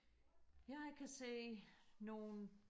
jeg kan se nogle